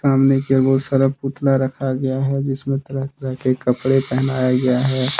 सामने की ओर बहुत सारा पुतला रखा गया है जिसमें तरह के कपड़े पहनाया गया है।